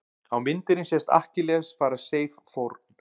á myndinni sést akkilles færa seif fórn